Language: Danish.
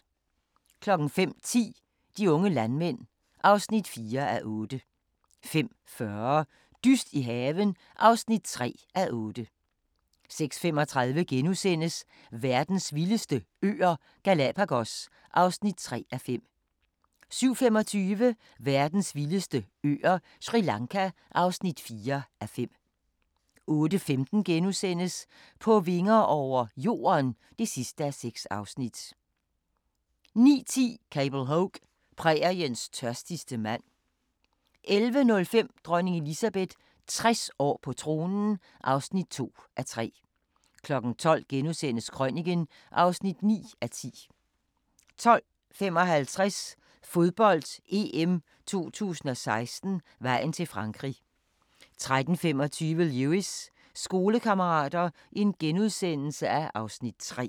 05:10: De unge landmænd (4:8) 05:40: Dyst i haven (3:8) 06:35: Verdens vildeste øer – Galapagos (3:5)* 07:25: Verdens vildeste øer – Sri Lanka (4:5) 08:15: På vinger over – Jorden (6:6)* 09:10: Cable Hogue – Præriens tørstigste mand 11:05: Dronning Elizabeth – 60 år på tronen (2:3) 12:00: Krøniken (9:10)* 12:55: Fodbold: EM 2016 - vejen til Frankrig 13:25: Lewis: Skolekammerater (Afs. 3)*